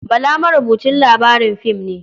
Bala marubucin labarin fim ne.